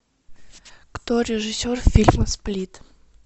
кто режиссер фильма сплит